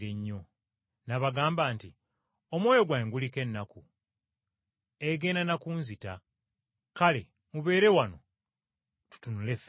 N’abagamba nti, “Omwoyo gwange guliko ennaku egenda na kunzita. Kale mubeere wano tutunule ffenna.”